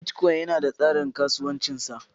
Bitcoin yana da tsarin kasuwancin sa.